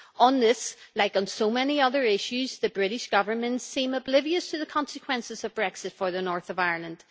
On this, like on so many other issues, the British Government seem oblivious to the consequences of Brexit for the north of Ireland.